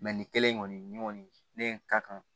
nin kelen in kɔni ne kɔni ne ka kan